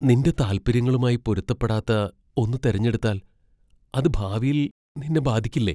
നിന്റെ താൽപ്പര്യങ്ങളുമായി പൊരുത്തപ്പെടാത്ത ഒന്ന് തിരഞ്ഞെടുത്താൽ അത് ഭാവിയിൽ നിന്നെ ബാധിക്കില്ലേ?